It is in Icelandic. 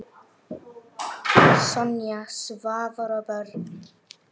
Sonja, Svavar og börn.